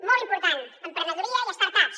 molt important emprenedoria i start ups